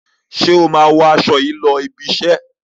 Ṣé o máa wọ aṣọ yìí lọ ibi-iṣẹ́?